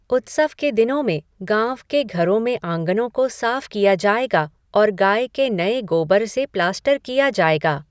उत्सव के दिनों में, गाँव के घरों में आंगनों को साफ किया जाएगा और गाय के नए गोबर से प्लास्टर किया जाएगा।